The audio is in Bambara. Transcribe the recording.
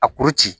A kuru ci